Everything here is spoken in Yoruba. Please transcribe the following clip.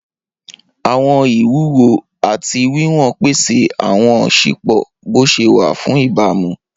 Awọn iwuwo ati wiwọn pese awọn sipo boṣewa fun ibamu.